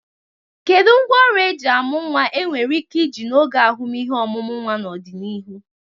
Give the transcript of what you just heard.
Kedu ngwaọrụ eji amu nwa enwere ike iji n'oge ahụmịhe ọmụmụ nwa n'ọdịnihu?